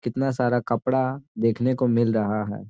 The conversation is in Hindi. कितना सारा कपड़ा देखने को मिल रहा है।